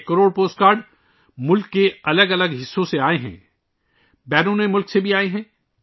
یہ ایک crore post card ملک کے مختلف حصوں سے آئے ہیں، بیرون ملک سے بھی آئے ہیں